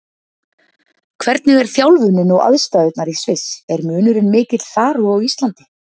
Hvernig er þjálfunin og aðstæðurnar í Sviss, er munurinn mikill þar og á Íslandi?